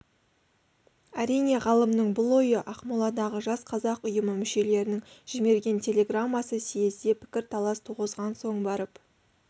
әрине ғалымның бұл ойы ақмоладағы жас қазақ ұйымы мүшелерінің жіберген телеграммасы съезде пікірталас туғызғаннан соң барып